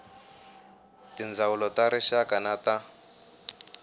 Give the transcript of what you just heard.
tindzawulo ta rixaka na ta